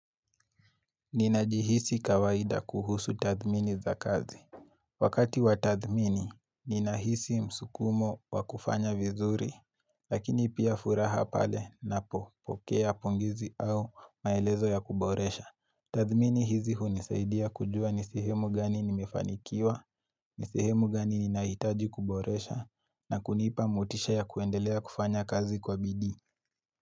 Ninajihisi kawaida kuhusu tathmini za kazi. Wakati wa tathmini, ninahisi msukumo wa kufanya vizuri, lakini pia furaha pale napo pokea pongezi au maelezo ya kuboresha. Tathmini hizi hunisaidia kujua ni sehemu gani nimefanikiwa, ni sehemu gani ninahitaji kuboresha, na kunipa mutisha ya kuendelea kufanya kazi kwa bidii.